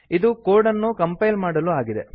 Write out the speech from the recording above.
ಇದು ಕೋಡ್ ಅನ್ನು ಕಂಪೈಲ್ ಮಾಡಲು ಆಗಿದೆ